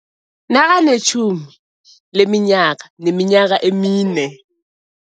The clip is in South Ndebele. Nakanetjhumi leminyaka neminyaka emine.